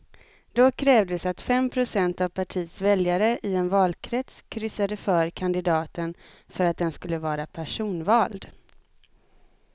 Då krävdes att fem procent av partiets väljare i en valkrets kryssade för kandidaten för att den skulle vara personvald.